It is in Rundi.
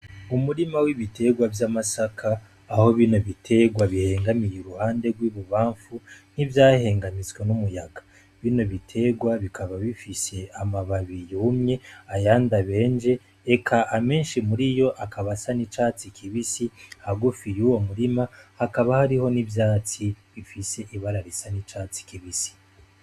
Umurima w'ibiterwa vy'amasaka aho bino biterwa bihengamiye uruhande rw'ibubamfu nk'ivyahengamizwa n'umuyaga bino biterwa bikaba bifishe amababiye umye aya ndabenje eka amenshi muri iyo akabasa n'icatsi kibisi hagufiye uwo murima hakaba hariho n'ivyatsi ifise ibararisa n'icatsi kibisi.